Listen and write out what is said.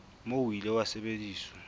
moo o ile wa sebediswa